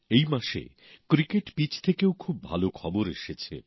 এই মাসে cricket pitch থেকেও খুব ভালো খবর এসেছে